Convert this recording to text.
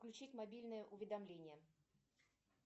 включить мобильное уведомление